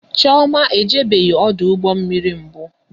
Chioma ejebeghi ọdụ ụgbọ mmiri mbụ